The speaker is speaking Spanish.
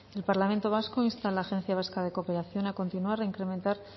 el parlamento vasco insta a la agencia vasca de cooperación a continuar e incrementar